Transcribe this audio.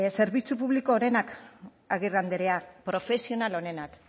zerbitzu publiko onenak agirre andrea profesional onenak